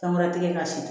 San wɛrɛ digi ka se